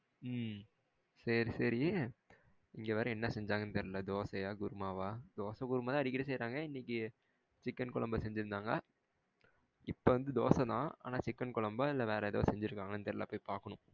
உம் சேரி சேரி இங்க வேற என்ன செஞ்சங்கனு தெரியலா தோசையா, குருமாவா? தோசை, குருமா தான் அடிக்கடி சேயிரங்க இன்னைக்கு சிக்கன் கொழம்பு செஞ்சி இருந்தாங்க இப்போ வந்து தோசை தான் ஆனா சிக்கன் கொழம்பா? இல்ல வேற எதாவது செஞ்சிருகன்களானு தெரியலா. போய் பாக்கணும்.